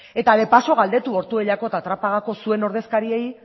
eta de paso galdetu ortuellako eta trapagako zuen ordezkariei